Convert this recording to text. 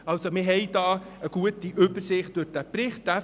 Wir haben durch diesen Bericht eine gute Übersicht erhalten.